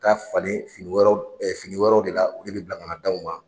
ka falen fini wɛrɛw fini wɛrɛw de la olu bɛ bila ka na d'anw ma.